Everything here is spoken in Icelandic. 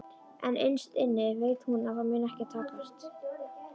En innst inni veit hún að það mun ekki takast.